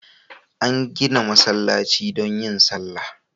Ana gida masallaci don yin sallah